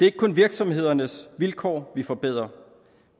ikke kun virksomhedernes vilkår vi forbedrer